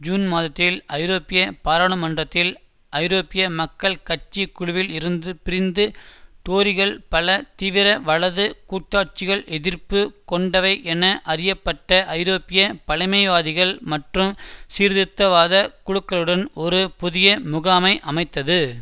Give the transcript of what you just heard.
June மாதத்தில் ஐரோப்பிய பாராளுமன்றத்தில் ஐரோப்பிய மக்கள் கட்சி குழுவில் இருந்து பிரிந்து டோரிகள் பல தீவிர வலது கூட்டாட்சிகள் எதிர்ப்பு கொண்டவை என அறியப்பட்ட ஐரோப்பிய பழைமைவாதிகள் மற்றும் சீர்திருத்தவாத குழுகளுடன் ஒரு புதிய முகாமை அமைத்தது